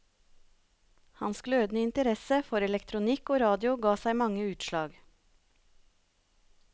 Hans glødende interesse for elektronikk og radio ga seg mange utslag.